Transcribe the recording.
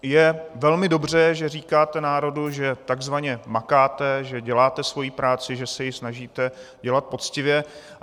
Je velmi dobře, že říkáte národu, že takzvaně makáte, že děláte svoji práci, že se ji snažíte dělat poctivě.